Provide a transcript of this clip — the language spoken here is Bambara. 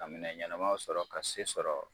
Ka minɛ ɲɛnamaw sɔrɔ ka se sɔrɔ.